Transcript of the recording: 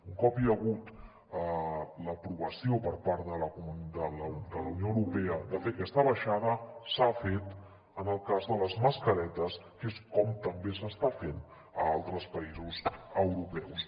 un cop hi ha hagut l’aprovació per part de la unió europea de fer aquesta baixada s’ha fet en el cas de les mascaretes que és com també s’està fent a altres països europeus